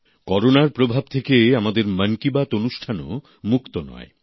করোনার প্রভাব থেকে আমাদের মন কি বাত অনুষ্ঠানও মুক্ত নয়